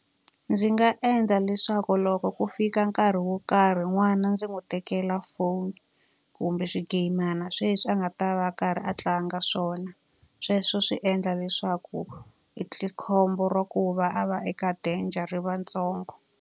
Ndzi nga endla leswaku loko ku fika nkarhi wo karhi n'wana ndzi n'wi tekela foni, kumbe swigeyimana sweswi a nga ta va a karhi a tlanga swona. Sweswo swi endla leswaku khombo ra ku va a va eka danger ri va ri ntsongo.